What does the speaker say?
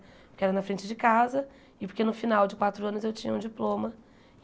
Porque era na frente de casa e porque no final de quatro anos eu tinha um diploma.